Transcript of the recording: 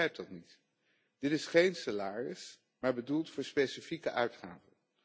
Ik begrijp dat niet. Dit is geen salaris, maar bedoeld voor specifieke uitgaven.